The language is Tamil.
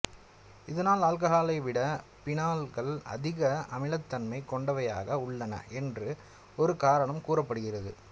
இதனால் ஆல்ககால்களைவிட பீனால்கள் அதிக அமிலத்தன்மை கொண்டவையாக உள்ளன என்று ஒரு காரணம் கூறப்படுகிறது